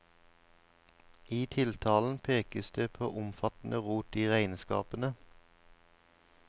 I tiltalen pekes det på omfattende rot i regnskapene.